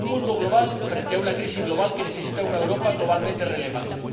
Un mundo global, frente a una crisis global que necesita de una Europa globalmente relevante.